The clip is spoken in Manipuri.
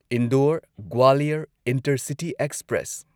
Indore Gwalior intercity express